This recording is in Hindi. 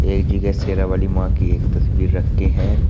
एक जगह शेरा वाली मां की एक तस्वीर रखी है।